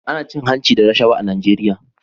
Ana cin hanci da rashawa a Najeriya